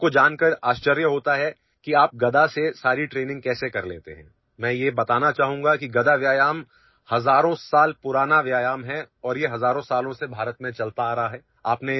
لوگ یہ جان کر حیران رہ جاتے ہیں کہ آپ گدا سے ساری ٹریننگ کیسے کرتے ہیں؟ میں آپ کو بتانا چاہوں گا کہ گدا کی ورزش ہزاروں سال پرانی ہے اور یہ ہندوستان میں ہزاروں سالوں سے رائج ہے